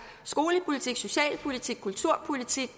skolepolitik socialpolitik kulturpolitik